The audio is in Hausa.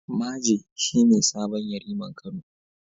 Maje shi ne sabon Yariman Kano.